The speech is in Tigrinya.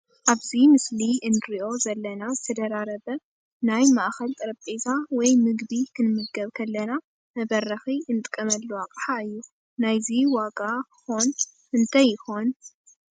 ኣብዚ ምስሊ እንሪኦ ዘለና ዝተደራረበ ናይ ማእከል ጠረጰዛ ወይ ምግቢ ክንምግብ ከለና መበረኪ እንጥቀመሉ ኣቅሓ እዩ። ናይዚ ዋካ ኮን ክንዳይ ይኮን?